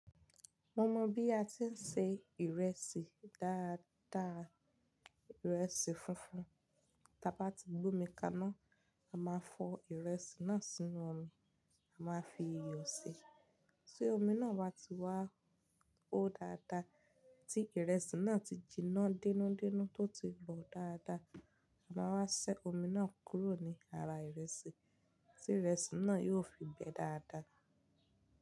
Mo mọ bí a ti ń se ìrẹsì dáadáa, ìrẹsì funfun. Tí a bá ti gbómi kaná, a máa fọ ìrẹsì náà sínú omi. A máa fi iyọ̀ ṣi Tí omi náà bá ti wá hó dáadáa, tí ìrẹsì náà ti jiná denúdenú tó ti bọ̀ dáadáa, a máa wá ṣẹ́ omi náà kúrò ní ara ìrẹsì, tí ìrẹsì náà yiò fi gbẹ dáadáa.